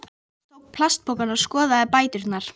Háskóli vor er enn kornungur og stendur nú á tímamótum.